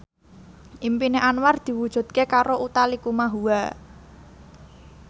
impine Anwar diwujudke karo Utha Likumahua